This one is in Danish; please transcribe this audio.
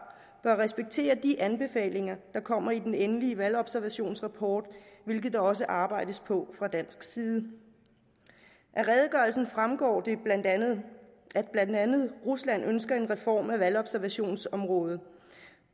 bør respektere de anbefalinger der kommer i den endelige valgobservationsrapport hvilket der også arbejdes på fra dansk side af redegørelsen fremgår det at blandt andet rusland ønsker en reform af valgobservationsområdet